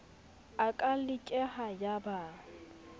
a ka lekeha ya ba